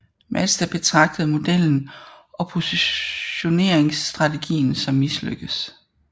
Mazda betragtede modellen og positioneringsstrategien som mislykket